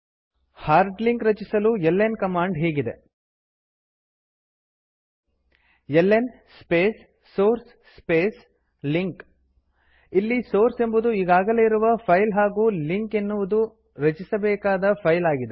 hard link ರಚಿಸಲು l n command ಹೀಗಿದೆ l n space source space link ಇಲ್ಲಿ ಸೋರ್ಸ್ ಎಂಬುದು ಈಗಾಗಲೇ ಇರುವ ಫೈಲ್ ಹಾಗೂ ಲಿಂಕ್ ಎನ್ನುವುದು ರಚಿಸಬೇಕಾದ ಫೈಲ್ ಆಗಿದೆ